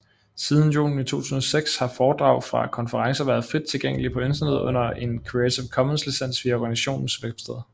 Siden juni 2006 har foredrag fra konferencerne været frit tilgængelige på internettet under en Creative Commons licens via organisationens websted